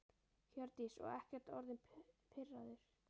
Hjördís: Og ekkert orðinn pirraður?